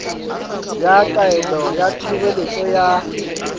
ya taelo ya tshireletso ya